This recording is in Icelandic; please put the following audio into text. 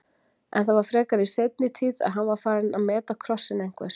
En það var frekar í seinni tíð að hann var farinn að meta krossinn einhvers.